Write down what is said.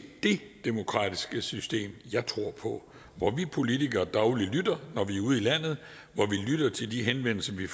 det demokratiske system jeg tror på hvor vi politikere dagligt lytter når vi er ude i landet hvor vi lytter til de henvendelser vi